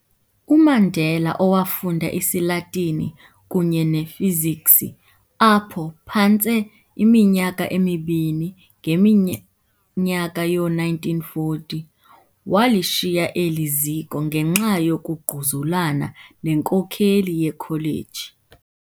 UMandela, owafunda isiLatini kunye nefiziksi apho phantse iminyaka emibini ngeminyaka yoo1940, walishiya eli ziko ngenxa yokungquzulana nenkokeli yekholeji.